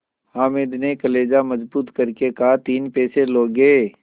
हामिद ने कलेजा मजबूत करके कहातीन पैसे लोगे